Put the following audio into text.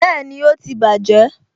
Bẹẹni, ó ti bàjé